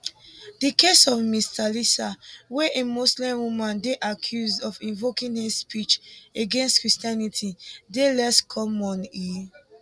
di case of ms thalisa wia a muslim woman dey accused of invoking hate speech against christianity dey less common e